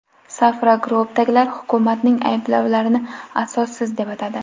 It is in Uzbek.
Safra Group’dagilar hukumatning ayblovlarini asossiz deb atadi.